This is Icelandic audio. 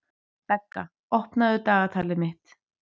Begga, opnaðu dagatalið mitt.